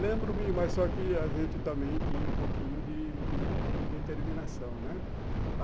Lembro-me, mas só que a gente também tinha um pouquinho de de de determinação, né?